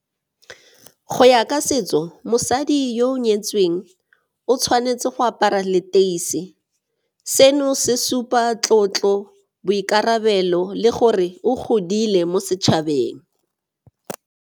Go ya ka setso, mosadi yo o nyetsweng o tshwanetse go apara leteisi. Seno se supa tlotlo, boikarabelo le gore o godile mo setšhabeng.